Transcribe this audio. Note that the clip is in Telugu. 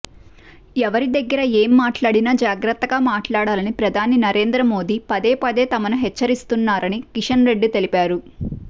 ఎవరి దగ్గర ఏం మాట్లాడినా జాగ్రత్తగా మాట్లాడాలని ప్రధాని నరేంద్ర మోదీ పదేపదే తమను హెచ్చరిస్తున్నారని కిషన్రెడ్డి తెలిపారు